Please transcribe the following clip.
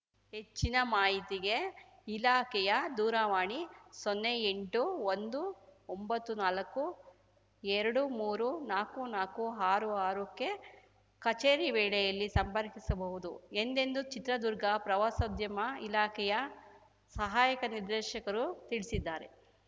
ಹೆಚ್ಚಿನ ಮಾಹಿತಿಗೆ ಇಲಾಖೆಯ ದೂರವಾಣಿ ಸೊನ್ನೆ ಎಂಟು ಒಂದು ಒಂಬತ್ತು ನಾಲಕ್ಕುಎರಡು ಮೂರೂ ನಾಕ್ಕು ನಾಕ್ಕು ಆರು ಆರಕ್ಕೆ ಕಚೇರಿ ವೇಳೆಯಲ್ಲಿ ಸಂಪರ್ಕಿಸಬಹುದು ಎಂದೆಂದು ಚಿತ್ರದುರ್ಗ ಪ್ರವಾಸೋದ್ಯಮ ಇಲಾಖೆಯ ಸಹಾಯಕ ನಿರ್ದೇಶಕರು ತಿಳಿಸಿದ್ದಾರೆ